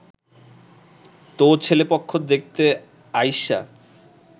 তো ছেলেপক্ষ দেখতে আইসা